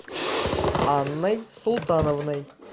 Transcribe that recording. анной султановной